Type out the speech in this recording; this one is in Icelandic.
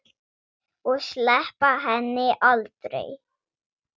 Og sleppa henni aldrei.